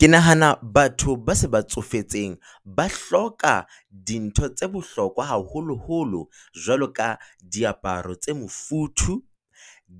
Ke nahana batho ba se ba tsofetseng ba hloka dintho tse bohlokwa haholoholo, jwalo ka diaparo tse mofuthu,